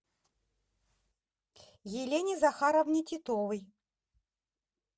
елене захаровне титовой